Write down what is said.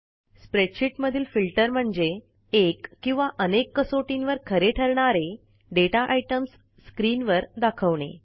spreadsheet मधील filter म्हणजे एक किंवा अनेक कसोटींवर खरे ठरणारे दाता आयटीईएमएस स्क्रीन वर दाखवणे